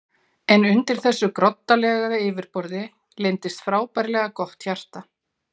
En undir þessu groddalega yfirborði leyndist frábærlega gott hjarta.